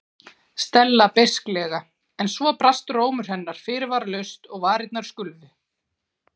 Stella beisklega en svo brast rómur hennar fyrirvaralaust og varirnar skulfu.